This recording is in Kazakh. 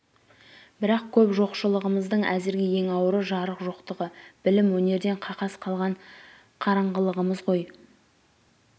бірақ көп жоқшы-лығымыздың әзірге ең ауыры жарық жоқтығы білім-өнерден қақас қалған қараңғылығымыз ғой